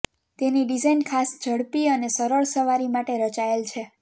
તેની ડિઝાઇન ખાસ ઝડપી અને સરળ સવારી માટે રચાયેલ છે